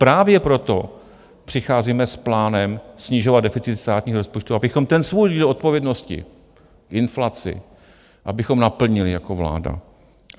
Právě proto přicházíme s plánem snižovat deficit státního rozpočtu, abychom ten svůj díl odpovědnosti inflaci, abychom naplnili jako vláda.